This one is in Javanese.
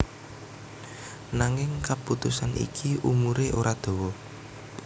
Nanging kaputusan iki umuré ora dawa